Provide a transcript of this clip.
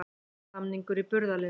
Samningur í burðarliðnum